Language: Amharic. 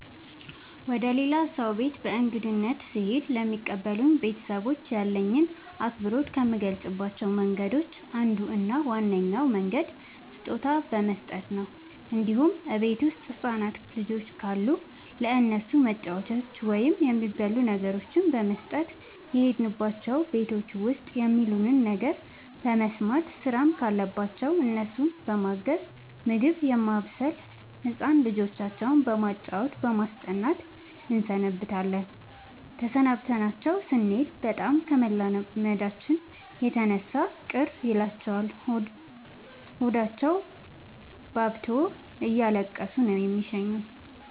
ወደ ሌላ ሰው ቤት በእንግድነት ስሄድ ለሚቀበሉኝ ቤተሰቦች ያለኝን አክብሮት ከምገልፅባቸው መንገዶች አንዱ እና ዋነኛው መንገድ ስጦታ በመስጠት ነው እንዲሁም እቤት ውስጥ ህፃናት ልጆች ካሉ ለእነሱ መጫወቻዎችን ወይም የሚበሉ ነገሮችን በመስጠት። የሄድንባቸው ቤቶች ውስጥ የሚሉንን ነገር በመስማት ስራም ካለባቸው እነሱን በማገዝ ምግብ በማብሰል ህፃን ልጆቻቸው በማጫወት በማስጠናት እንሰነብታለን ተሰናብተናቸው ስኔድ በጣም ከመላመዳችን የተነሳ ቅር ይላቸዋል ሆዳቸውባብቶ እያለቀሱ ነው የሚሸኙን።